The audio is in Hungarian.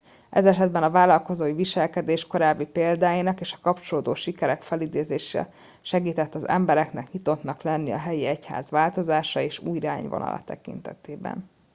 ez esetben a vállalkozói viselkedés korábbi példáinak és a kapcsolódó sikerek felidézése segített az embereknek nyitottnak lenni a helyi egyház változásai és új irányvonala tekintetében